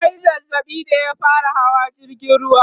ya Yi zazzaɓi da ya fara Hawa jirgin ruwa